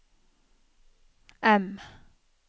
M